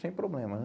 Sem problema, né?